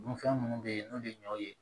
Dunfɛn minnu bɛ yen n'o ye ɲɔw ye